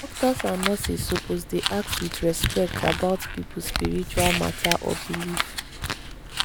doctors and nurses suppose dey ask with respect about people spiritual matter or belief.